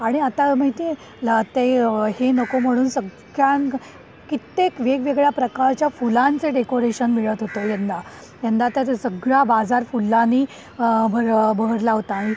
आणि आता माहिती आहे ते हे नको म्हणून सगळ्या कित्येक वेगवेगळ्या प्रकारच्या फुलांचे डेकोरेशन मिळत होवोत यंदा. यंदाच्या सगळा बाजार फुलांनी बहरला होता आणि